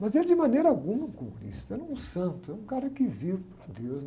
Mas ele de maneira alguma é um comunista, era um santo, é um cara que vira para deus.